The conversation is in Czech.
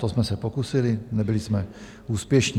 To jsme se pokusili, nebyli jsme úspěšní.